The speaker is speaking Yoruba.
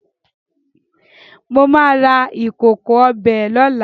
Mo máa ra ìkòkò ọbẹ̀ lóla